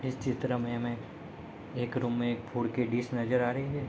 इस चित्र में हमें एक रूम में एक फूड की डिश नजर आ रही है।